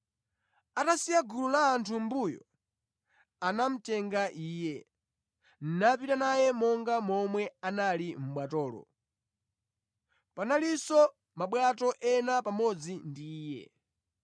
Atasiya gulu la anthu mʼmbuyo, anamutenga Iye, napita naye monga momwe anali mʼbwatolo. Panalinso mabwato ena pamodzi ndi Iye.